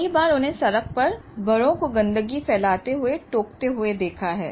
कई बार उन्हें सड़क पर बड़ों को गंदगी फैलाते हुए टोकते हुए देखा है